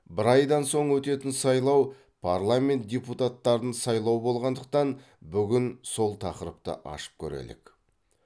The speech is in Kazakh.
бір айдан соң өтетін сайлау парламент депутаттарын сайлау болғандықтан бүгін сол тақырыпты ашып көрелік